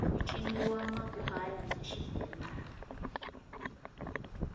ku ciniwa makhwaya na xibelani